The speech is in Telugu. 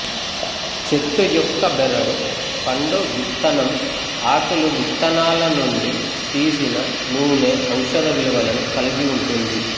చెట్టు యొక్క బెరడు పండు విత్తనం ఆకులు విత్తనాల నుండి తీసిన నూనె ఔషధ విలువలను కలిగి ఉంటుంది